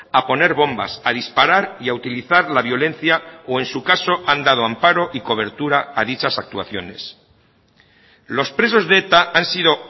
a poner bombas a disparar y a utilizar la violencia o en su caso han dado amparo y cobertura a dichas actuaciones los presos de eta han sido